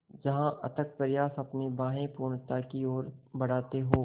जहाँ अथक प्रयास अपनी बाहें पूर्णता की ओर बढातें हो